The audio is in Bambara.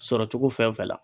Sɔrɔcogo fɛn fɛn la